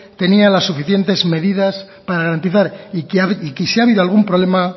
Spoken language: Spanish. tenía las suficientes medidas para garantizar y que si ha habido algún problema